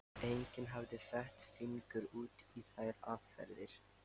Enginn hafði fett fingur út í þær aðferðir.